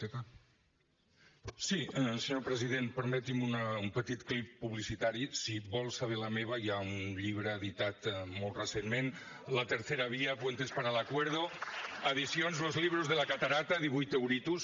senyor president permeti’m un petit clip publicitari si vol saber la meva hi ha un llibre editat molt recentment la tercera vía puentes para el acuerdo edicions los libros de la catarata divuit euritos